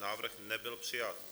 Návrh nebyl přijat.